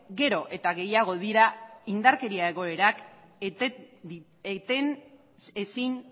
gero eta gehiago dira indarkeria egoerak eten ezin